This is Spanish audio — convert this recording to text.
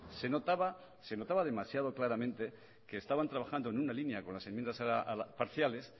se notaba se notaba demasiado claramente que estaban trabajando en una línea con las enmiendas parciales